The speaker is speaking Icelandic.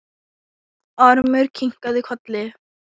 Ormur kinkaði kolli.